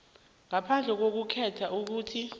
ngaphandle kokukhetha ukuthi